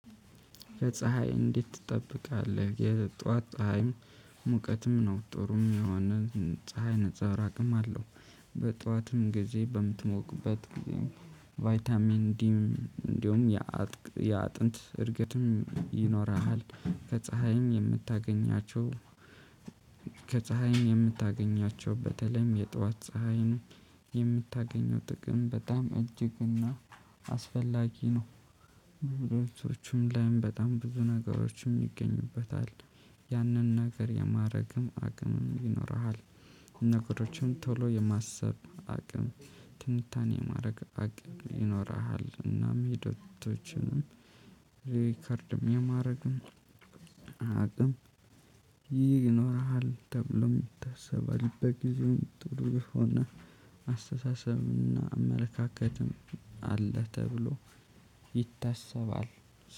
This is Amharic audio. ከፀሀይ እንዴት ትጠብቃለህ የጧት ፀሀይም ሙቀትም ነው ጥሩም የሆነ ፀሀይ ነፀብራቅም አለው። በጠዋትም ጊዜ በምትሞቁበት ጊዜም ቫይታሚን ዲ እንዲሁም ያ ያ አጥንት እድገትም ይኖርሃል። ከፀሀይም የምታገኛቸው። ከፀሀይ የምታገኛቸው በተለይም የጧት ፀሀይ የምታገኘው ጥቅም በጣም እጅግና አስፈላጊ ነው። ብዙዎችም ላይም በጣም ብዙ ነገሮችም ይገኙበታል። ያንን ነገር የማድረግም አቅምም ይኖርሃል። ነገሮችም ቶሎ የማሰብ አቅም ትንታኔ የማድረግ አቅም ይኖርሃል። እናም ሂደቶችንም ሪከርድም የማድረግም አቅም ይኖረሃል። ተብሎ ይታሰባል። በጊዜው ጥሩ የሆነ አስተሳሰብና አመለካከትም አለ ተብሎ ይታሰባል።